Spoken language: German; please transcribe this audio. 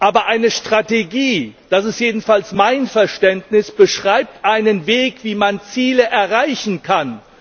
Aber eine Strategie das ist jedenfalls mein Verständnis beschreibt einen Weg, wie man Ziele erreichen kann.